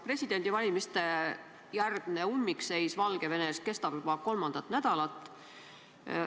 Presidendivalimiste järgne ummikseis Valgevenes kestab juba kolmandat nädalat.